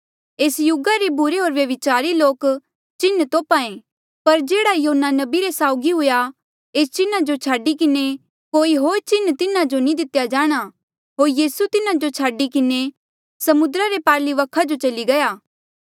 एस युगा रे बुरे होर व्यभिचारी लोक चिन्ह तोप्हा ऐें पर जेह्ड़ा योना नबी रे साउगी हुआ एस चिन्हा जो छाडी किन्हें कोई होर चिन्ह तिन्हा नी दितेया जाणा होर यीसू तिन्हा जो छाडी किन्हें समुद्रा रे पारली वखा जो चली गया